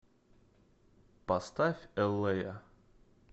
поставь эллея